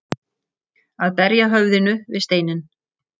Að berja höfðinu við steininn